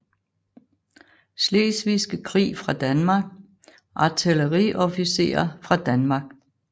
Slesvigske Krig fra Danmark Artilleriofficerer fra Danmark